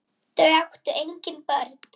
Þau áttu engin börn.